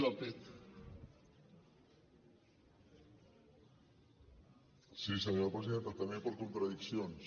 sí senyora presidenta també per contradiccions